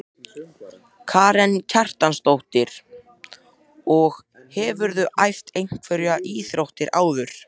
Karen Kjartansdóttir: Og hefurðu æft einhverjar íþróttir áður?